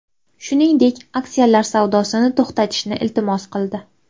Shuningdek, aksiyalari savdosini to‘xtatishni iltimos qildi.